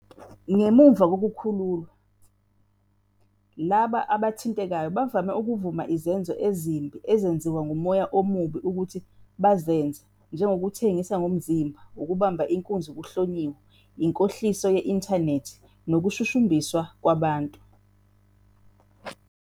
Ngemuva kokukhululwa, labo abathintekayo bavame ukuvuma izenzo ezimbi ezenziwa ngumoya omubi ukuthi zibenze, njengokuthengisa ngomzimba, ukubamba inkunzi kuhlonyiwe, inkohliso ye-intanethi nokushushumbiswa kwabantu.